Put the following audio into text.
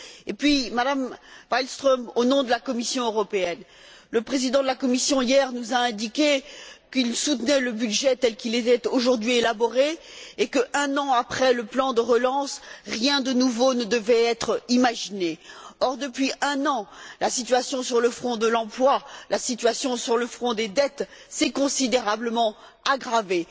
Et puis, Madame Malmström, au nom de la Commission européenne, le président de la Commission hier nous a indiqué qu'il soutenait le budget tel qu'il était aujourd'hui élaboré et que, un an après le plan de relance, rien de nouveau ne devait être imaginé. Or, depuis un an, la situation sur le front de l'emploi, la situation sur le front des dettes, s'est considérablement aggravée.